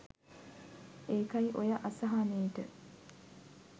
ඒකයි ඔය අසහනේට